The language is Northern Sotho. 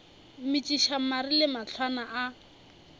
metšiša mare le mahlwana a